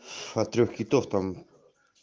от трёх китов там